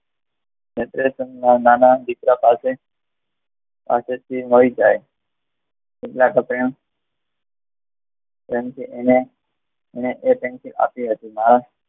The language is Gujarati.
નાના દીકરા પાસે પાસેથી મળી જાય કેટલા તો પ્રેમ એને એ પેન્સિલ આપી હતી